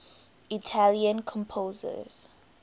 italian composers